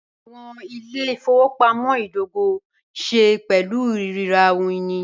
Awọn ilẹ̀-ifọwọpamọ̀ idògò ní ṣẹ̀ pẹ̀lú rírà ohun-ini.